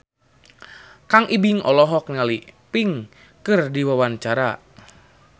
Kang Ibing olohok ningali Pink keur diwawancara